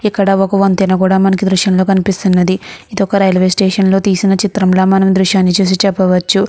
ఇక్కడ ఒక వంతెన కూడా మనకి దృశ్యం లో కనిపిస్తునది ఇది ఒక రైల్వే స్టేషన్ లో తీసిన దృశ్యం ల మనం ఈ దృశ్యాన్ని చూసి చెప్పవచ్చు.